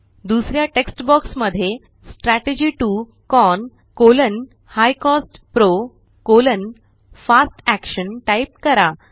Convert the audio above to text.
दुसऱ्या text box मध्ये strategy 2 CON high cost PRO fast action type करा